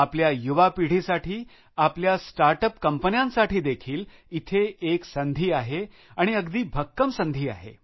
आपल्या युवा पिढीसाठी आपल्या स्टार्टअप कंपन्यांसाठी देखील इथे एक संधी आहे आणि अगदी भक्कम संधी आहे